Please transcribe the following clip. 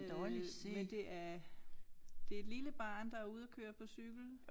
Øh men det er det et lille barn der ude og køre på cykel